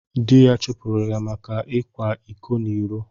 Dị́ ya chụpụrụ ya maka na ọ kwàrá ịkọ n'iró